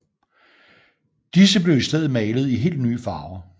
Disse blev i stedet malede i helt nye farver